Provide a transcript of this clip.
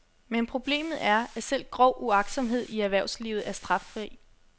Men problemet er, at selv grov uagtsomhed i erhvervslivet er straffri.